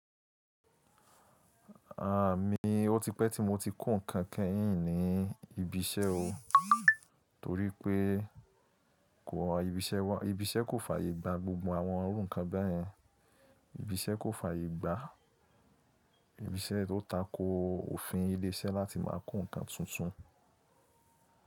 À mí, ó ti pẹ́ tí mo ti kùn ǹkan kẹ́yìn ní ibi iṣẹ́ o. Torí pé kó ibi iṣẹ́ wá ibi iṣẹ́ kò fàyè gba gbogbo àwọn orúkàn bẹ́yẹn. Ibi iṣẹ́ kò fàyè gbá ibi iṣẹ́ tó tako òfin ilé-iṣẹ́ láti máa ko ǹkan tuntun.